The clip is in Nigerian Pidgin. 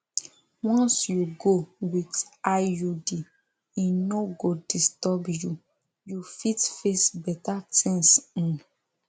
once you go with iud e no go disturb you you fit face better things um